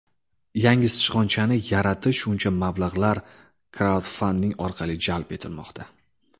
Yangi sichqonchani yaratish uchun mablag‘lar kraudfanding orqali jalb etilmoqda.